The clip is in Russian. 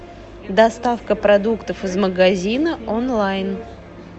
доставка продуктов из магазина онлайн